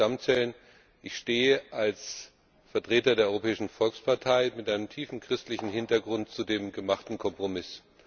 Zum Thema Stammzellen Ich stehe als Vertreter der Europäischen Volkspartei mit einem tiefen christlichen Hintergrund zu dem gemachten Kompromiss.